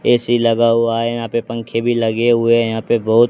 AC लगा हुआ है यहां पे पंखे भी लगे हुए हैं यहां पे बहुत--